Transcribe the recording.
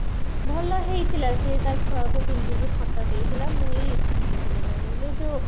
ଭଲ ହେଇଥିଲା ସେ ତା ଛୁଆ କୁ ପିନ୍ଧେଇକି photo ଦେଇଥିଲା ମୁଁ ଏଇ ଏଠୁ ନେଇଥିଲି କଣ କହିଲୁ ଯୋଉ